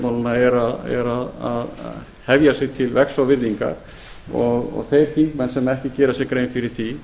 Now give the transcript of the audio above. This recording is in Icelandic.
lýðræðisstjórnmálanna er að hefja sig til vegs og virðingar þeir þingmenn sem ekki gera sér grein fyrir því